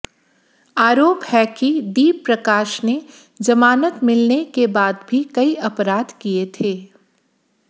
आरोप है कि दीप प्रकाश ने जमानत मिलने के बाद भी कई अपराध किए थे